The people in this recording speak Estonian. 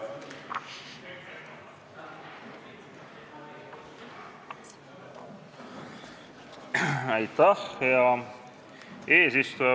Hea eesistuja!